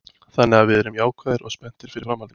Þannig að við erum jákvæðir og spenntir fyrir framhaldinu.